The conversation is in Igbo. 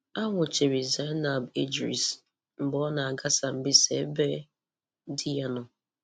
A nwụchiri Zainab Idris mgbe ọ na-aga Sambisa ébé di ya nọ.